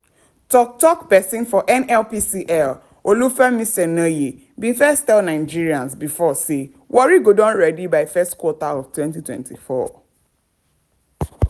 tok tok pesin for nnpcl olufemi soneye bin first tell nigerians before say "warri go don ready by q1 (first quarter) of 2024."